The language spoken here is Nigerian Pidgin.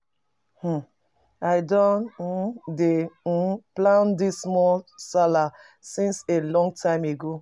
um I don um dey um plan this small sallah since a long time ago